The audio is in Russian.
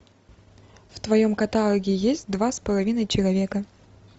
в твоем каталоге есть два с половиной человека